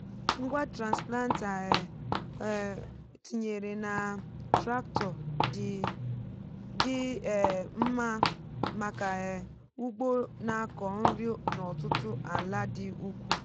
ngwa transplanter e um tinyere na tractor dị um mma maka um ugbo na-akọ nri n'ọtụtụ ala dị ukwuu.